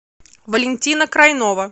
валентина крайнова